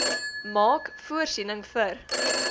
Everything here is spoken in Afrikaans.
maak voorsiening vir